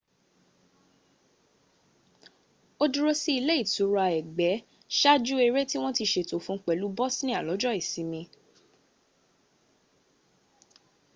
ó dúró sí ile itura ëgbẹ́ ṣáaju ẹrẹ́ tí wọ́n ti ṣètò fún pẹ̀lú bosnia lọ́jọ́ ìsinmi